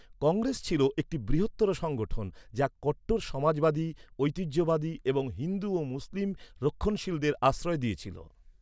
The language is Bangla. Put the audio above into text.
কংগ্রেস ছিল একটি বৃহত্তর সংগঠন, যা কট্টর সমাজবাদী, ঐতিহ্যবাদী, এবং হিন্দু ও মুসলিম রক্ষণশীলদের আশ্রয় দিয়েছিল।